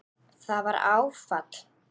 Það var áfall.